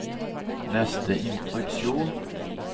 neste instruksjon